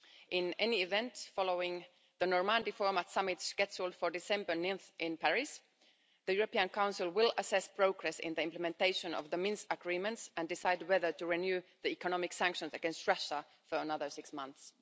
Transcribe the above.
In any event, following the Normandy Format Summit scheduled for 9 December in Paris, the European Council will assess progress in the implementation of the Minsk Agreements and decide whether to renew the economic sanctions against Russia for another six months.